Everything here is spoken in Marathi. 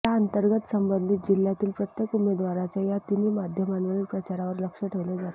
याअंतर्गत संबंधित जिल्ह्यातील प्रत्येक उमेदवाराच्या या तिन्ही माध्यमांवरील प्रचारावर लक्ष ठेवले जाते